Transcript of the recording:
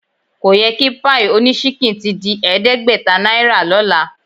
Ko yẹ kí páì oníṣínkìn ti di ẹ̀ẹ́dẹ́gbẹ̀ta náírà lọ́la